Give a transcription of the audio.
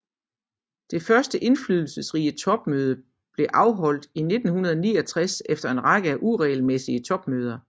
Det første indflydelsesrige topmøde blev afholdt i 1969 efter en række af uregelmæssige topmøder